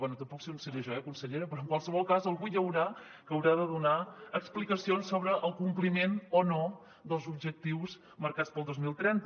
bé tampoc sé on seré jo eh consellera però en qualsevol cas algú hi haurà que haurà de donar explicacions sobre el compliment o no dels objectius marcats per al dos mil trenta